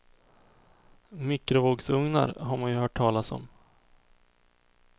Mikrovågsugnar har man ju hört talas om.